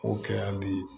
O kɛya be ye